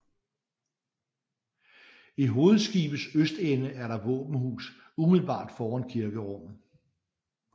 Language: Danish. I hovedskibets østende er der våbenhus umiddelbart foran kirkerummet